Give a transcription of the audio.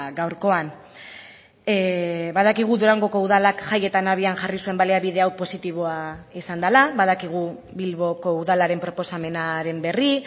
gaurkoan badakigu durangoko udalak jaietan abian jarri zuen baliabide hau positiboa izan dela badakigu bilboko udalaren proposamenaren berri